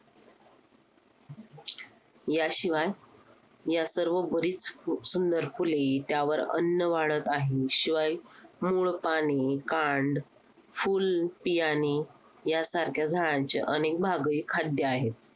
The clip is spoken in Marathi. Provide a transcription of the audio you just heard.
याशिवाय या सर्व बरीच सुंदर फुले त्यावर अन्न वाढत आहे. शिवाय मूळ, पाणी, कांड, फूल, बियाणे यासारख्या झाडांचे अनेक भागही खाद्य आहेत.